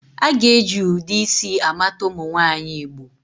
A ga-eji ụdị isi a mata ụmụ nwaanyị Igbo